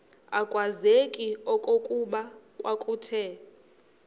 akwazeki okokuba kwakuthe